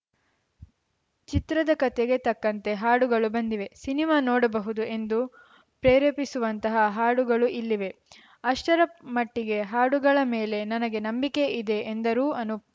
ಚಿತ್ರದ ಕತೆಗೆ ತಕ್ಕಂತೆ ಹಾಡುಗಳು ಬಂದಿವೆ ಸಿನಿಮಾ ನೋಡಬಹುದು ಎಂದು ಪ್ರೇರೆಪಿಸುವಂತಹ ಹಾಡುಗಳು ಇಲ್ಲಿವೆ ಅಷ್ಟರ ಮಟ್ಟಿಗೆ ಹಾಡುಗಳ ಮೇಲೆ ನನಗೆ ನಂಬಿಕೆ ಇದೆ ಎಂದರು ಅನೂಪ್‌